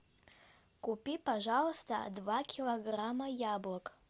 купи пожалуйста два килограмма яблок